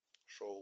шоу